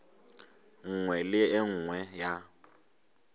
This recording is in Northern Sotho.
nngwe le e nngwe ya